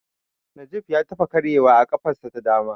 Najib ya taɓa karyewa a ƙafarsa ta dama.